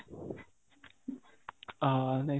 ଅହଃ